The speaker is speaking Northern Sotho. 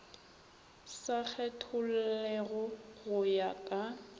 sa kgethollego go ya ka